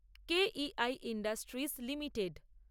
K E I industries limited